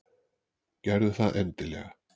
Gerðu það endilega.